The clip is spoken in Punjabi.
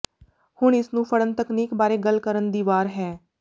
ਹੁਣ ਇਸ ਨੂੰ ਫੜਨ ਤਕਨੀਕ ਬਾਰੇ ਗੱਲ ਕਰਨ ਦੀ ਵਾਰ ਹੈ